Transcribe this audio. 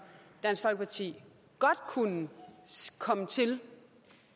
dansk folkeparti godt kunne komme til